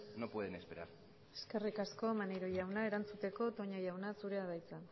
no pueden esperar eskerrik asko maneiro jauna erantzuteko toña jauna zurea da hitza